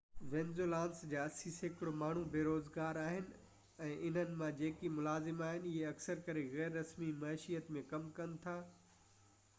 Venezuelans جا اسي سيڪڙو ماڻهو بيروزگار آهن ۽ انهن مان جيڪي ملازم آهن اهي اڪثر ڪري غير رسمي معيشت ۾ ڪم ڪن ٿا